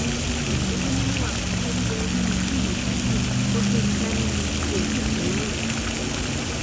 èmi ni mo wà pẹlú olúwẹrí nínú fíìmù ìdàgìrì wọn gbé mi dání ni mi ò tì tì í rìn